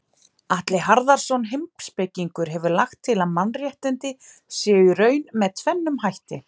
Atli Harðarson heimspekingur hefur lagt til að mannréttindi séu í raun með tvennum hætti.